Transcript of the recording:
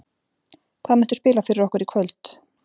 Hvað muntu spila fyrir okkur í kvöld?